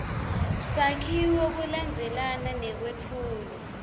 sakhiwo kulandzelana nekwetfulwa